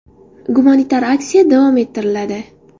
Gumanitar aksiya davom ettiriladi.